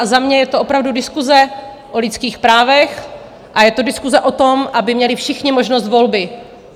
A za mě je to opravdu diskuse o lidských právech a je to diskuse o tom, aby měli všichni možnost volby.